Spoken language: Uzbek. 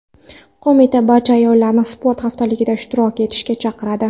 Qo‘mita barcha ayollarni sport haftaligida faol ishtirok etishga chaqiradi.